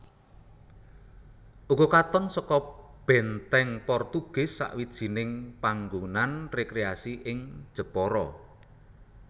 Ugo katon seka Benteng Portugis sawijining panggonan rekreasi ing Jepara